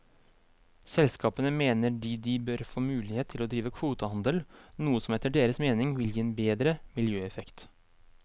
Selskapene mener de de bør få mulighet til å drive kvotehandel, noe som etter deres mening vil gi en bedre miljøeffekt.